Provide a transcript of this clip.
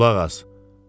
Qulaq as.